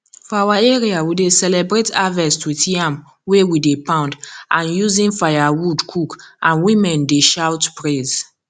for our area we dey celebrate harvest with yam wey we dey poundand using firewood cook and women dey shout praise